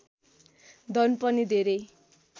धन पनि धेरै